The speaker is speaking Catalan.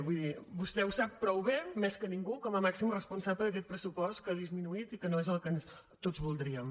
vull dir vostè ho sap prou bé més que ningú com a màxim responsable d’aquest pressupost que ha disminuït i que no és el que tots voldríem